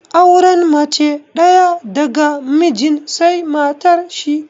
Auren mace ɗaya daga mijin sai matar shi